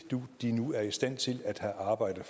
de nu er i stand til at have arbejde